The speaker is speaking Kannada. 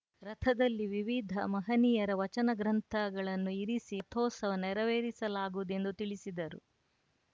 ರಥದಲ್ಲಿ ವಿವಿಧ ಮಹನೀಯರ ವಚನ ಗ್ರಂಥಗಳನ್ನು ಇರಿಸಿ ರಥೋತ್ಸವ ನೆರವೇರಿಸಲಾಗುವುದು ಎಂದು ತಿಳಿಸಿದರು